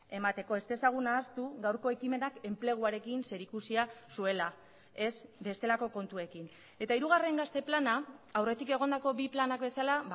emateko ez dezagun ahaztu gaurko ekimenak enpleguarekin zerikusia zuela ez bestelako kontuekin eta hirugarren gazte plana aurretik egondako bi planak bezala